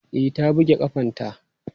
E, ta buge ƙafanta.